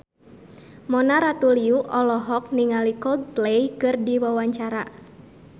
Mona Ratuliu olohok ningali Coldplay keur diwawancara